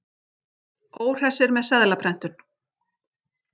Óhressir með seðlaprentun